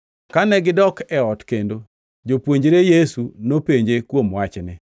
Kane gidok e ot kendo, jopuonjre Yesu nopenje kuom wachni.